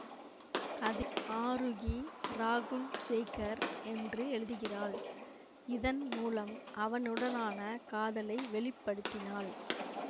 அதில் ஆரூகி ராகுல் ஜய்கர் என்று எழுதுகிறாள் இதன் மூலம் அவனுடனான காதலை வெளிப்படுத்தினாள்